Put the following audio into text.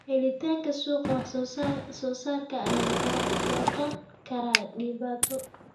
Helitaanka suuqa wax soo saarka ayaa noqon kara dhibaato.